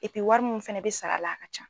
Epi wari mun fana bɛ sara a la a ka ca.